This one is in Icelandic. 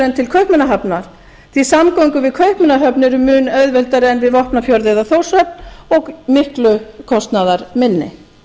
en til kaupmannahafnar því að samgöngur við kaupmannahöfn eru mun auðveldari en við vopnafjörð eða þórshöfn og miklu kostnaðarminni